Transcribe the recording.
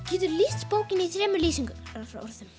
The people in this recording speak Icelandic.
geturðu lýst bókinni í þremur lýsingarorðum